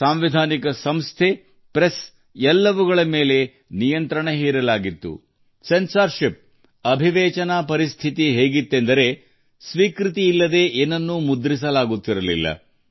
ಸಾಂವಿಧಾನಿಕ ಸಂಸ್ಥೆಗಳು ಪತ್ರಿಕಾ ಸಂಸ್ಥೆಗಳನ್ನು ನಿಯಂತ್ರಣಕ್ಕೆ ಒಳಪಡಿಸಲಾಯಿತು ಸೆನ್ಸಾರ್ಶಿಪ್ನ ಸ್ಥಿತಿಯು ಹೇಗಿತ್ತು ಎಂದರೆ ಅನುಮೋದನೆಯಿಲ್ಲದೆ ಅನುಮತಿ ಇಲ್ಲದೆ ಯಾವುದನ್ನೂ ಮುದ್ರಿಸುವುದು ಅಸಾಧ್ಯವಾಗಿತ್ತು